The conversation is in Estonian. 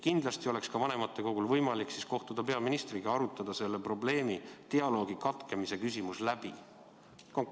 Kindlasti oleks ka vanematekogul võimalik kohtuda peaministriga, arutada see probleem, dialoogi katkemise küsimus läbi.